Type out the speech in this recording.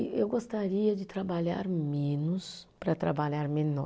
E eu gostaria de trabalhar menos para trabalhar melhor.